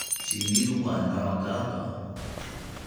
Shinnidu waa nooc gaar ah.